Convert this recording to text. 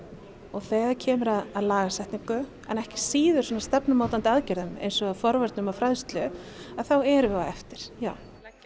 þegar kemur að lagasetningu en ekki síður stefnumótandi aðgerðum eins og forvörnum og fræðslu þá erum við á eftir já